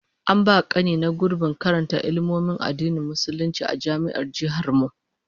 An ba kani na gurbin karanta Ilmomin Addinin Musulunci a Jami'ar Jihar mu